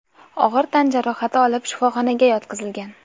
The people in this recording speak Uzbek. og‘ir tan jarohati olib, shifoxonaga yotqizilgan.